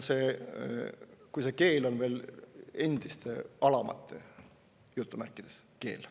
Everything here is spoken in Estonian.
Liiati, kui see keel on veel endiste "alamate" keel.